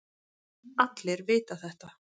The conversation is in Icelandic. Allir vita þetta.